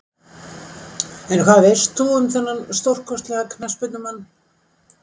En hvað veist þú um þennan stórkostlega knattspyrnumann?